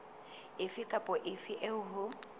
efe kapa efe eo ho